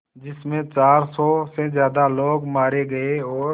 जिस में चार सौ से ज़्यादा लोग मारे गए और